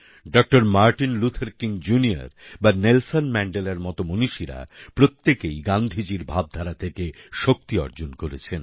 doctor Martin Luther King junior বা Nelson ম্যাণ্ডেলার মত মণীষীরা প্রত্যেকেই গান্ধীজীর ভাবধারা থেকে শক্তি অর্জন করেছেন